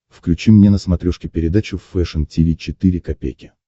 включи мне на смотрешке передачу фэшн ти ви четыре ка